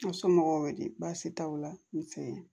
N somɔgɔw wele baasi t'aw la n fɛ